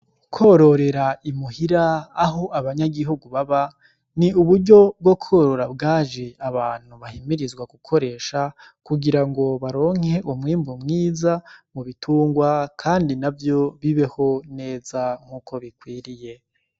Kwororera imuhira aho abanyagihugu baba ni uburyo bwo kworora bwajye abantu bahimirizwa gukoresha kugira ngo baronke umwimbu mwiza mu bitungwa kandi navyo bibeho neza nkuko bikwiriye.